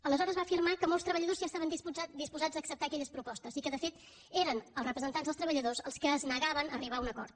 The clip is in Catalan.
aleshores va afirmar que molts treballadors ja estaven disposats a acceptar aquelles propostes i que de fet eren els representants dels treballadors els que es negaven a arribar a un acord